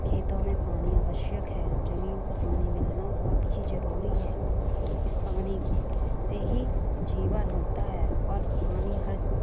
खेतो मे पानि अवशयक है जमीन को पानी मिलना बहुत हि जरूरी है इस पानी से हि जीवन होता है और पनि हर--